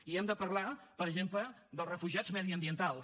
i hem de parlar per exemple dels refugiats mediambientals